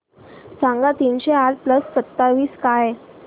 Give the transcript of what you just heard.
सांगा तीनशे आठ प्लस सत्तावीस काय